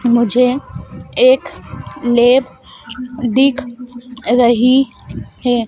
मुझे एक लेप दिख रही हैं।